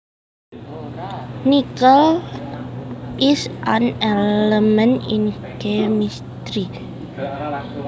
Nickel is an element in chemistry